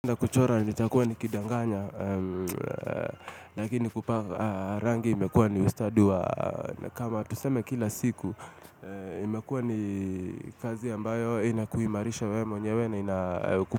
Na kuchora nitakuwa nikidanganya Lakini kupaka rangi imekuwa ni ustadi wa kama tuseme kila siku imekuwa ni kazi ambayo inakuimarisha we mwenyewe na ina.